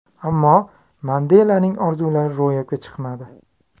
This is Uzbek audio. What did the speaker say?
Ammo Mandelaning orzulari ro‘yobga chiqmadi.